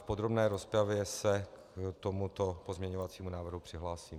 V podrobné rozpravě se k tomuto pozměňovacímu návrhu přihlásím.